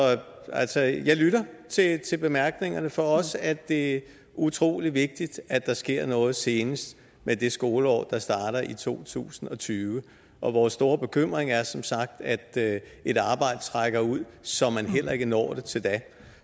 jeg lytter til bemærkningerne for os er det utrolig vigtigt at der sker noget senest med det skoleår der starter i to tusind og tyve og vores store bekymring er som sagt at et arbejde trækker ud så man heller ikke når det til da